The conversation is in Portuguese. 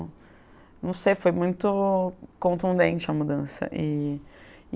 Não sei, foi muito contundente a mudança. E